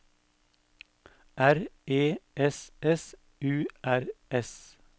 R E S S U R S